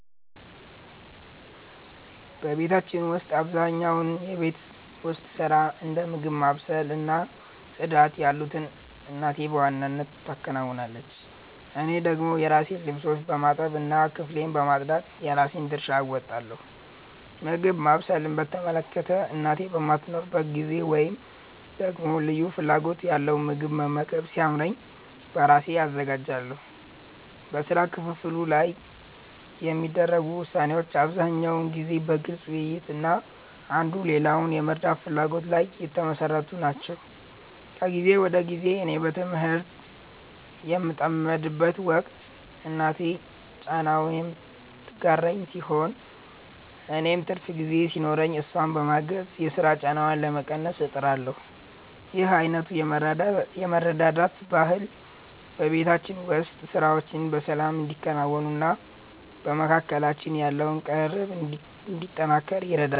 በቤታችን ውስጥ አብዛኛውን የቤት ውስጥ ሥራ፣ እንደ ምግብ ማብሰል እና ጽዳት ያሉትን እናቴ በዋናነት ትከውናለች። እኔ ደግሞ የራሴን ልብሶች በማጠብ እና ክፍሌን በማጽዳት የራሴን ድርሻ እወጣለሁ። ምግብ ማብሰልን በተመለከተ፣ እናቴ በማትኖርበት ጊዜ ወይም ደግሞ ልዩ ፍላጎት ያለው ምግብ መመገብ ሲያምረኝ በራሴ አዘጋጃለሁ። በሥራ ክፍፍሉ ላይ የሚደረጉ ውሳኔዎች አብዛኛውን ጊዜ በግልጽ ውይይት እና አንዱ ሌላውን የመርዳት ፍላጎት ላይ የተመሠረቱ ናቸው። ከጊዜ ወደ ጊዜ እኔ በትምህርት በምጠመድበት ወቅት እናቴ ጫናውን የምትጋራልኝ ሲሆን፣ እኔም ትርፍ ጊዜ ሲኖረኝ እሷን በማገዝ የሥራ ጫናዋን ለመቀነስ እጥራለሁ። ይህ አይነቱ የመረዳዳት ባህል በቤታችን ውስጥ ሥራዎች በሰላም እንዲከናወኑና በመካከላችን ያለው ቅርርብ እንዲጠናከር ይረዳል።